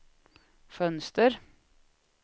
fönster